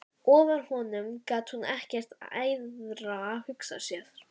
Ofar honum gat hún ekkert æðra hugsað sér.